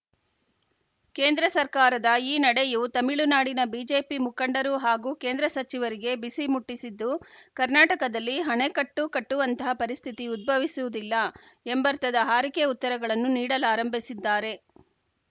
ಕೇಂದ್ರ ಸರ್ಕಾರದ ಈ ನಡೆಯು ತಮಿಳುನಾಡಿನ ಬಿಜೆಪಿ ಮುಖಂಡರು ಹಾಗೂ ಕೇಂದ್ರ ಸಚಿವರಿಗೆ ಬಿಸಿ ಮುಟ್ಟಿಸಿದ್ದು ಕರ್ನಾಟಕದಲ್ಲಿ ಹಣೆಕಟ್ಟು ಕಟ್ಟುವಂಥ ಪರಿಸ್ಥಿತಿ ಉದ್ಭವಿಸುವುದಿಲ್ಲ ಎಂಬರ್ಥದ ಹಾರಿಕೆ ಉತ್ತರಗಳನ್ನು ನೀಡಲಾರಂಭಿಸಿದ್ದಾರೆ